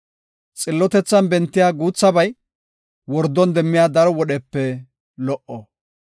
Xillotethan bentiya guuthabay, wordon demmiya daro wodhepe lo77o.